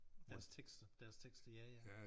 Deres tekster deres tekster ja ja